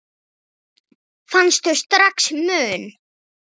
Fannstu strax mun?